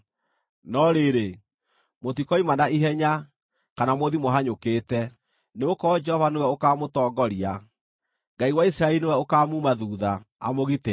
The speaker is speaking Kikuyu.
No rĩrĩ, mũtikoima na ihenya, kana mũthiĩ mũhanyũkĩte; nĩgũkorwo Jehova nĩwe ũkaamũtongoria, Ngai wa Isiraeli nĩwe ũkaamuuma thuutha, amũgitĩre.